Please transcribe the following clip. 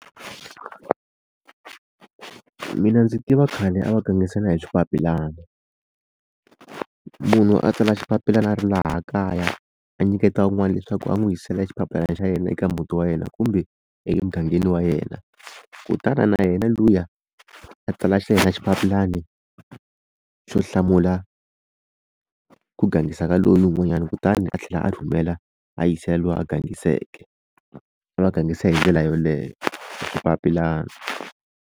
Mina ndzi tiva khale a va gangisana hi swipapilana munhu a tsala xipapilana a ri laha kaya a nyiketa un'wana leswaku a n'wi yisela xipapilana xa yena eka muti wa yena kumbe emugangeni wa yena kutani na yena luya a tsala xa yena xipapilani xo hlamula ku gangisa ka lowu n'wanyana kutani a tlhela a rhumela a yisela luwa a gangiseke a va gangisana hi ndlela yoleyo xipapilana.